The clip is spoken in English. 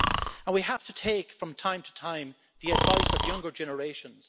And we have to take, from time to time, the advice of younger generations.